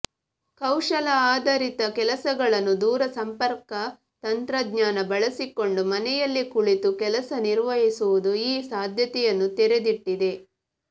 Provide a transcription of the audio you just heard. ಕೌಶಲ ಆಧರಿತ ಕೆಲಸಗಳನ್ನು ದೂರಸಂಪರ್ಕ ತಂತ್ರಜ್ಞಾನ ಬಳಸಿಕೊಂಡು ಮನೆಯಲ್ಲೇ ಕುಳಿತು ಕೆಲಸ ನಿರ್ವಹಿಸುವುದು ಈ ಸಾಧ್ಯತೆಯನ್ನು ತೆರೆದಿಟ್ಟಿದೆ